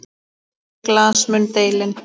Bera glas mun delinn.